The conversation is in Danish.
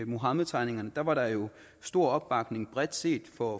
muhammedtegningerne var der jo stor opbakning bredt set for